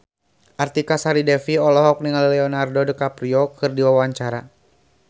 Artika Sari Devi olohok ningali Leonardo DiCaprio keur diwawancara